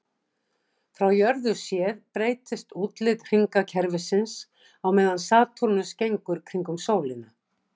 Frá jörðu séð breytist útlit hringakerfisins á meðan Satúrnus gengur kringum sólina.